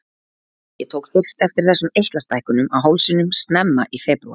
Ég tók fyrst eftir þessum eitlastækkunum á hálsinum snemma í febrúar.